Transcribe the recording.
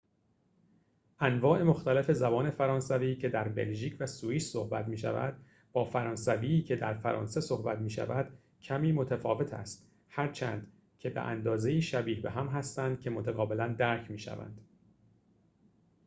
انواع مختلف زبان فرانسوی که در بلژیک و سوئیس صحبت می شود با فرانسوی که در فرانسه صحبت می شود کمی متفاوت است هرچند که به اندازه ‌ای شبیه به هم هستند که متقابلا درک می‌شوند